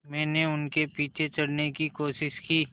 मैंने उनके पीछे चढ़ने की कोशिश की